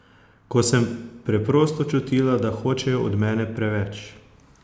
Ko sem preprosto čutila, da hočejo od mene preveč.